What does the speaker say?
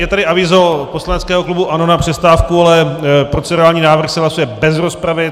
Je tady avízo poslaneckého klubu ANO na přestávku, ale procedurální návrh se hlasuje bez rozpravy.